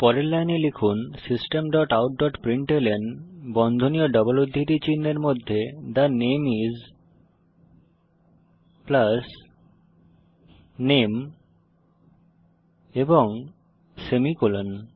পরের লাইনে লিখুন system dot out dot println বন্ধনী ও ডবল উদ্ধৃতি চিনহের মধ্যে থে নামে আইএস নামে এবং সেমিকোলন